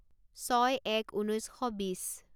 ছয় এক ঊনৈছ শ বিছ